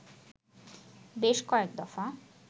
বেশ কয়েক দফা